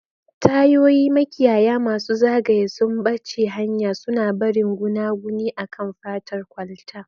Tayoyi, makiyaya masu zagaye, sumbace hanya, suna barin gunaguni akan fatar kwalta.